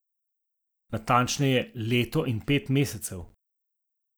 Natančneje, leto in pet mesecev.